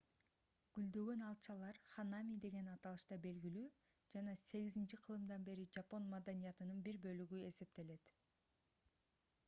гүлдөгөн алчалар ханами деген аталышта белгилүү жана 8-кылымдан бери жапон маданиятынын бир бөлүгү болуп эсептелет